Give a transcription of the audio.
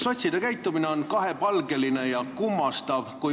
Sotside käitumine on kahepalgeline ja kummastav.